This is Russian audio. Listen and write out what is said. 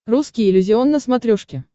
русский иллюзион на смотрешке